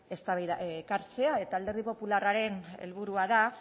ekartzea eta alderdi popularraren helburua da